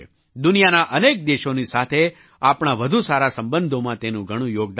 દુનિયાના અનેક દેશોની સાથે આપણા વધુ સારા સંબધોમાં તેનું ઘણું યોગદાન છે